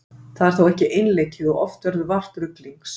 Það er þó ekki einleikið og oft verður vart ruglings.